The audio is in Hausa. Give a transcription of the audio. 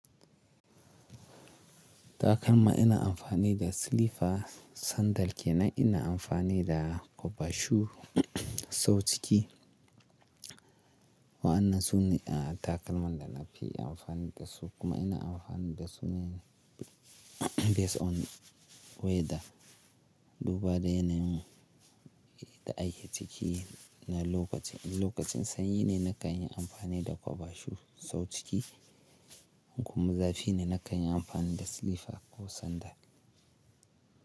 Takalma ina amfani da silifa sandal ke nan ina amfani da kwaba shu sau ciki. Wa'anna su ne takalman da na fi amfani dasu kuma ina amfani dasu ne based on weather. Duba da yanayin da ake ciki na lokaci. Lokacin sanyi ne na kan yi amfani da kwaba shu sau ciki kuma zafi ne na kan yi amfani da silifa ko sandal.